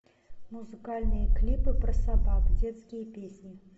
музыкальные клипы про собак детские песни